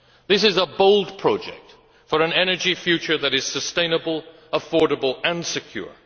This is a bold project for an energy future that is sustainable, affordable and secure.